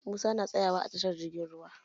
Musa na tsaya wa a tashi jirgin ruwa.